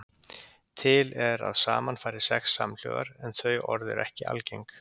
Til er að saman fari sex samhljóðar en þau orð eru ekki algeng.